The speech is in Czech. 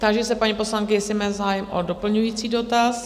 Táži se paní poslankyně, jestli má zájem o doplňující dotaz?